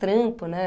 Trampo, né?